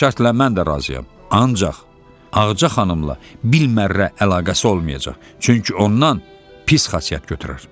"Bu şərtlə mən də razıyam, ancaq Ağca xanımla bir mərə əlaqəsi olmayacaq, çünki ondan pis xasiyyət götürər."